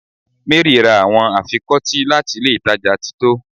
Mary ra awọn afikọti lati ilé ìtajà tito